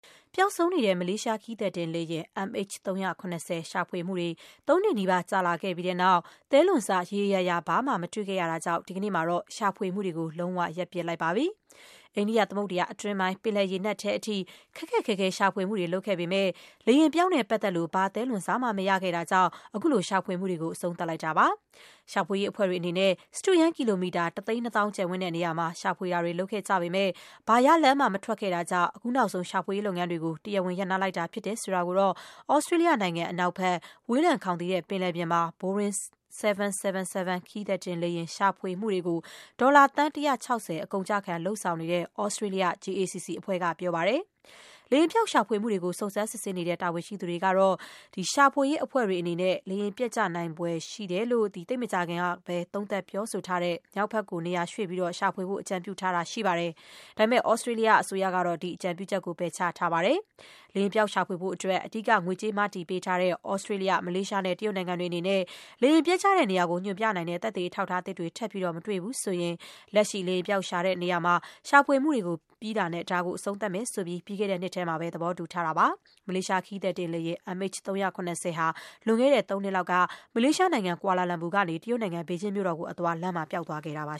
ပျောက်ဆုံးနေတဲ့ မလေးရှားခရီးသည်တင်လေယာဉ် MH370 ရှာဖွေမှုတွေ သုံးနှစ်နီးပါး ကြာလာပြီးတဲ့နောက် သဲလွန်စ ရေရေရာရာ ဘာမှ မတွေ့ခဲ့ရတာကြောင့် ဒီကနေ့မှာတော့ ရှာဖွေမှုတွေကို လုံး၀ ရပ်ပစ်လိုက်ပါပြီ။ အိန္ဒိယသမုဒ္ဒရာ အတွင်းပိုင်း ပင်လယ်ရေနက်ထဲအထိ ခက်ခက်ခဲခဲ ရှာဖွေမှုတွေ လုပ်ခဲ့ပေမဲ့ လေယာဉ်ပျောက်နဲ့ပတ်သက်လို့ ဘာသဲလွန်စမှ မရခဲ့တာကြောင့် အခုလို ရှာဖွေမှုတွေ အဆုံးသတ် လိုက်တာပါ။ ရှာဖွေရေးအဖွဲ့တွေ အနေနဲ့ စတုရန်းကီလိုမီတာ တသိန်းနှစ်သောင်း ကျယ်ဝန်းတဲ့နေရာမှာ ထိရောက်မရှိတဲ့ ရှာဖွေမှုတွေ လုပ်ခဲ့ကြပြီးတဲ့နောက် အခုနောက်ဆုံး ရှာဖွေရေးလုပ်ငန်းတွေကို တရားဝင် ရပ်နားလိုက်ပြီဖြစ်တဲ့အကြောင်း သြစတြေးလျနိုင်ငံ အနောက်ဘက် ဝေးလံခေါင်သီတဲ့ ပင်လယ်ပြင်မှာ ဘိုရင်း ၇၇၇ ခရီးသည်တင်လေယာဉ် ရှာဖွေမှုတွေကို ဒေါ်လာ သန်း ၁၆၀ အကုန်အကျခံ လုပ်ဆောင်နေတဲ့ သြစတြေးလျနိုင်ငံ JACC အဖွဲ့က ပြောပါတယ်။ လေယာဉ်ပျောက်ရှာဖွေမှုတွေကို စုံစမ်းစစ်ဆေးနေတဲ့ တာဝန်ရှိသူတွေ ကတော့ ရှာဖွေရေး အဖွဲ့တွေအနေနဲ့ မြောက်ဘက် ကို နေရာရွှေ့ပြီး လေယာဉ် ပျက်ကျ နိုင်ခဲ့ဖွယ်ရှိတယ်လို့ သိပ်မကြာခင်ကပဲ သုံးသပ်ပြောဆို ထားတဲ့ နေရာမှာ ရှာဖွေဖို့ အကြံပြုတာရှိပါတယ်။ ဒါပေမဲ့ သြစတြေးလျအစိုးရကတော့ အဲဒီအကြံပြုချက်ကို ပယ်ချခဲ့ပါတယ်။ လေယာဉ် ပျောက်ရှာဖွေဖို့အတွက် အဓိက ငွေကြေးမတည်ပေးနေတဲ့ သြစတြေးလျ၊ မလေးရှားနဲ့ တရုတ်နိုင်ငံတွေအနေနဲ့ - လေယာဉ်ပျက်ကျတဲ့ နေရာကို ညွှန်ပြနိုင်တဲ့ သက်သေအထောက်အထားသစ်တွေ ထပ်မတွေ့ရဘူးဆိုရင် လက်ရှိ လေယာဉ်ပျောက်ရှာ ဖွေနေတဲ့ နေရာမှာ ရှာဖွေမှုတွေ ပြီးတာနဲ့ ဒါကိုအဆုံးသတ်မယ်လို့ ပြီးခဲ့တဲ့နှစ်ထဲမှာပဲ သဘောတူထားကြတာပါ။ မလေးရှားခရီးသည်တင်လေယာဉ် MH370 လေယာဉ် လွန်ခဲ့တဲ့သုံးနှစ်လောက်က မလေးရှားနိုင်ငံ ကွာလာလမ်ပူမြို့ကနေ တရုတ်နိုင်ငံ ဘေဂျင်းမြို့ကိုအသွား လမ်းမှာ ပျောက်သွားခဲ့တာပါ